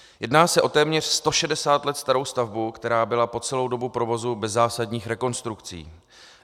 Jedná se o téměř 160 let starou stavbu, která byla po celou dobu provozu bez zásadních rekonstrukcí.